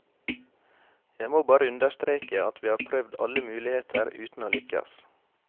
Jeg må bare understreke at vi har prøvd alle muligheter uten å lykkes.